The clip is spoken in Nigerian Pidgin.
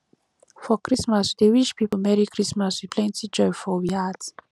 for christmas we dey wish pipo merry christmas with plenty joy for we heart